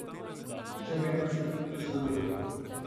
Še vedno se ni nič zgodilo.